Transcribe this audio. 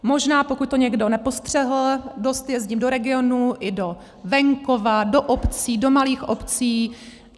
Možná pokud to někdo nepostřehl, dost jezdím do regionů i do venkova, do obcí, do malých obcí.